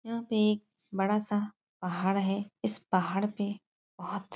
यहाँ पर एक बड़ा सा पहाड़ है। इस पहाड़ पर बहुत --